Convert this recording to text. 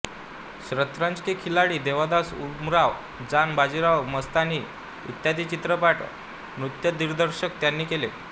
शतरंज के खिलाडी देवदास उमराव जान बाजीराव मस्तानी इत्यादी चित्रपटात नृत्य दिग्दर्शन त्यांनी केले आहे